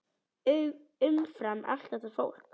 Umfram allt þetta fólk.